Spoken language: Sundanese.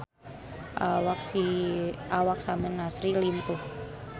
Awak Samir Nasri lintuh